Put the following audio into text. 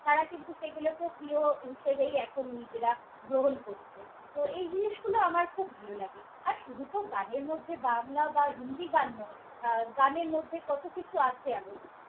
তারা কিন্তু সেগুলোকেও প্রিয় হিসেবেই এখন নিজেরা গ্রহণ করছে। তো এই জিনিসগুলো আমার খুব ভালো লাগে। আর শুধু তো গানের মধ্যে বাংলা বা হিন্দি গান নয়, আহ গানের মধ্যে কত কিছু আছে আরও।